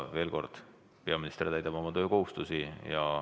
Veel kord: peaminister täidab oma töökohustusi.